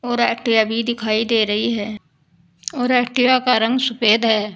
और एक्टिवा दिखाई दे रही है और एक्टिवा का रंग सफेद है।